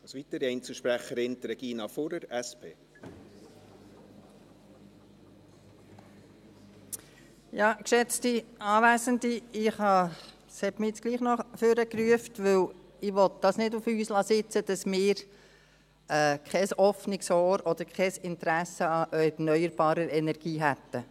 Es hat mich jetzt trotzdem noch nach vorne gerufen, da ich es nicht auf uns sitzen lassen will, dass wir kein offenes Ohr oder kein Interesse an erneuerbarer Energie hätten.